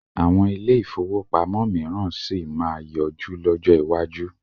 Àwọn ilé-ìfowópamọ́ mìíràn sì máa yọjú lọ́jọ́ iwájú.